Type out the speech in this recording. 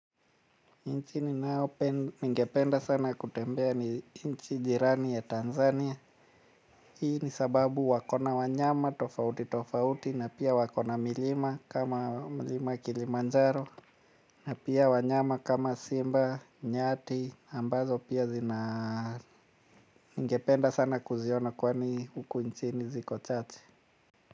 Nchi ninayopen ningependa sana kutembea nchi jirani ya Tanzania. Hii ni sababu wako na wanyama tofauti tofauti na pia wako na milima kama milima kilimanjaro. Na pia wanyama kama simba nyati ambazo pia zina ngependa sana kuziona kwani huku nchini ziko chache.